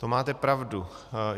To máte pravdu.